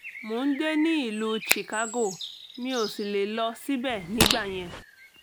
mo ń gbé ní ìlú chicago mi ò sì lè lọ síbẹ̀ nígbà yẹn